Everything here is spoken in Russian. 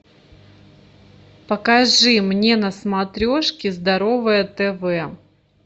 покажи мне на смотрешке здоровое тв